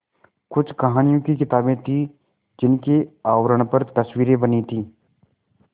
कुछ कहानियों की किताबें थीं जिनके आवरण पर तस्वीरें बनी थीं